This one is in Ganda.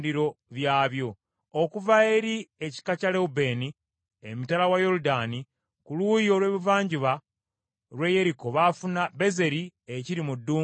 okuva eri ekika kya Lewubeeni, emitala wa Yoludaani ku luuyi olw’ebuvanjuba lw’e Yeriko, baafuna Bezeri ekiri mu ddungu, Yaza,